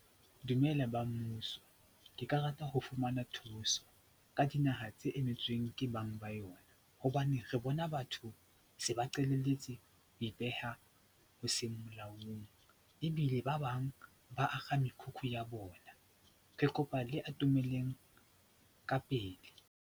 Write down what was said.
Dumela ba mmuso, ke ka rata ho fumana thuso ka dinaha tse emetsweng ke bang ba yona hobane re bona batho se ba qalalletse ho ipeha ho seng molaong ebile ba bang ba akga mekhukhu ya bona. Ke kopa le atomeleng ka pele.